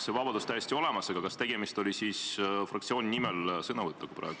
See vabadus on täielikult olemas, aga kas tegemist oli praegu sõnavõtuga fraktsiooni nimel?